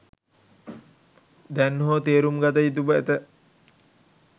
දැන් හෝ තේරුම්ගත යුතුව ඇත